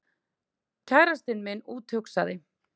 Kærastinn minn úthugsaði